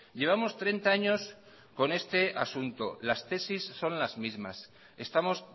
llevamos treinta años con este asunto las tesis son las mismas estamos